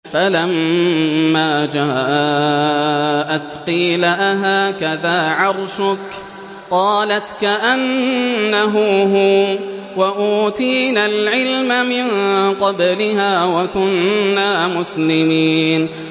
فَلَمَّا جَاءَتْ قِيلَ أَهَٰكَذَا عَرْشُكِ ۖ قَالَتْ كَأَنَّهُ هُوَ ۚ وَأُوتِينَا الْعِلْمَ مِن قَبْلِهَا وَكُنَّا مُسْلِمِينَ